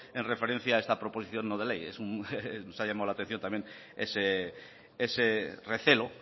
en referencia a esta proposición no de ley nos ha llamado la atención también ese recelo